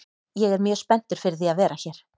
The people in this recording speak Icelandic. Ég er mjög spenntur fyrir því að vera hér.